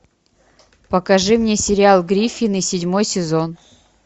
покажи мне сериал гриффины седьмой сезон